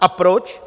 A proč?